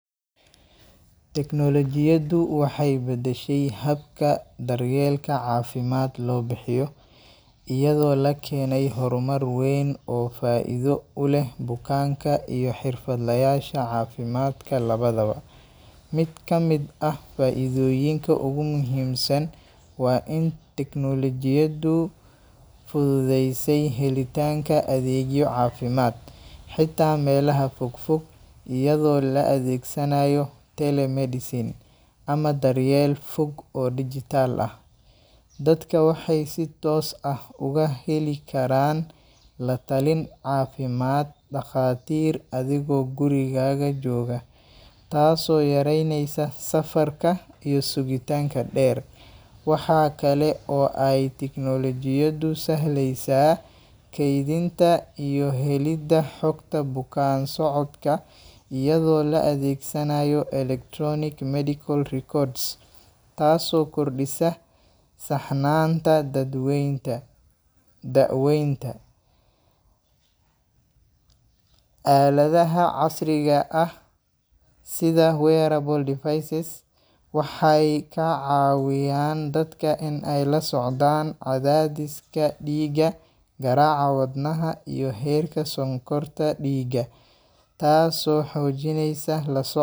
Tiknoolajiyaddu waxay beddeshay habka daryeelka caafimaad loo bixiyo, iyadoo la keenay horumar weyn oo faa’iido u leh bukaanka iyo xirfadlayaasha caafimaadka labadaba. Mid ka mid ah faa’iidooyinka ugu muhiimsan waa in tiknoolajiyaddu fududeysay helitaanka adeegyo caafimaad, xitaa meelaha fog fog, iyadoo la adeegsanayo telemedicine ama daryeel fog oo dhijitaal ah. Dadka waxay si toos ah uga heli karaan la-talin caafimaad dhakhaatiir adigoo gurigaaga jooga, taasoo yareynaysa safarka iyo sugitaanka dheer. Waxaa kale oo ay tiknoolajiyaddu sahlaysaa kaydinta iyo helidda xugta bukaan-socodka iyadoo la adeegsanayo electronic medical records (EMR), taasoo kordhisa saxnaanta dadweynta daaweynta. Aaladaha casriga ah sida wearable devices waxay kaa caawiyaan dadka in ay la socdaan cadaadiska dhiigga, garaaca wadnaha, iyo heerka sonkorta dhiigga, taasoo xoojineysa la soc.